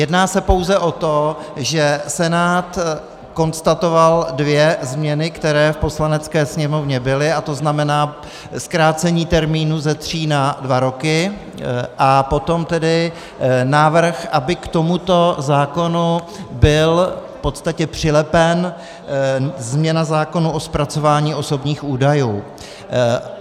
Jedná se pouze o to, že Senát konstatoval dvě změny, které v Poslanecké sněmovny byly, a to znamená zkrácení termínu ze tří na dva roky a potom tedy návrh, aby k tomuto zákonu byla v podstatě přilepena změna zákona o zpracování osobních údajů.